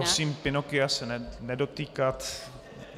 Prosím, Pinocchia se nedotýkat.